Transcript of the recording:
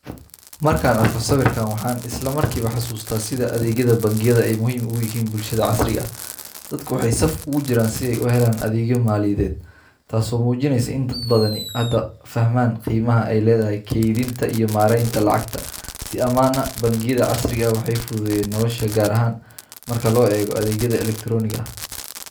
Markaan arko sawirkan, waxaan isla markiiba xasuustaa sida adeegyada bangiyada ay muhiim ugu yihiin bulshada casriga ah. Dadka waxay saf ugu jiraan si ay u helaan adeegyo maaliyadeed, taasoo muujinaysa in dad badani hadda fahmeen qiimaha ay leedahay kaydinta iyo maaraynta lacagta si ammaan ah. Bangiyada casriga ah waxay fududeeyeen nolosha, gaar ahaan marka loo eego adeegyada elektaroonigga ah.